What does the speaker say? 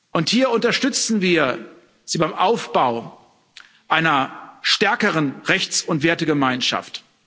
Und hier unterstützen wir Sie beim Aufbau einer stärkeren Rechts und Wertegemeinschaft.